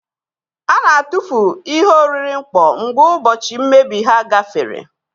A na-atụfu ihe oriri mkpọ mgbe ụbọchị mmebi ha gafere.